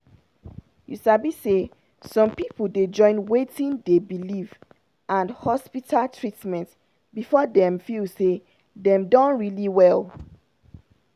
you sabi say some people dey join wetin dey believe and hospital treatment before dem feel say dem don really well.